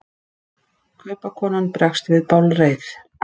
Kaupakonan bregst við bálreið.